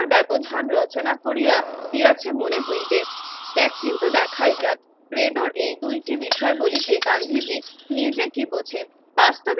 ব্যবধান রচনা করিয়া দিয়াছে মনে হইবে দেখ কিন্তু দেখাই যাক ট্রেডর এই দুইটি বিষয় বলি যে গান্ধীজি নিজেকে